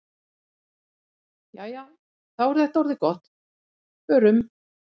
Jæja, þá er þetta orðið gott. Förum.